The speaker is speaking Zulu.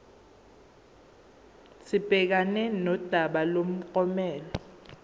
sibhekane nodaba lomklomelo